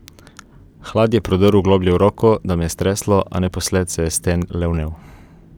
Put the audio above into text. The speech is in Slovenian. Hlad je prodrl globlje v roko, da me je streslo, a naposled se je stenj le vnel.